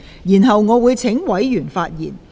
然後，我會請委員發言。